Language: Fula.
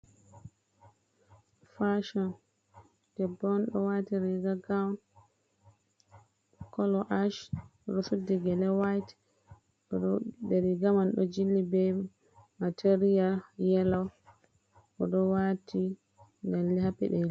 Fashon debbo on ɗo wati riga goun kolo ’ash oɗo suddi gele whaite oɗo riga man ɗo jilli be material yelo oɗo wati lalle ha peɗeli.